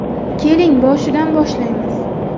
Keling boshidan boshlaymiz.